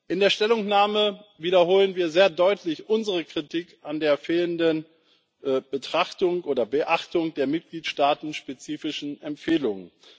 In der Stellungnahme wiederholen wir sehr deutlich unsere Kritik an der fehlenden Beachtung der für die Mitgliedstaaten spezifischen Empfehlungen.